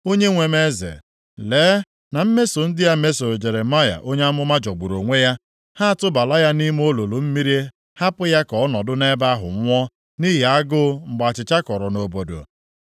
“Onyenwe m eze, lee na mmeso ndị a mesoro Jeremaya onye amụma jọgburu onwe ya. Ha atụbala ya nʼime olulu mmiri hapụ ya ka ọ nọdụ nʼebe ahụ nwụọ nʼihi agụụ mgbe achịcha kọrọ nʼobodo.”